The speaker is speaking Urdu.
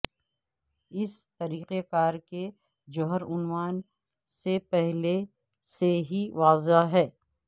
اس طریقہ کار کے جوہر عنوان سے پہلے سے ہی واضح ہے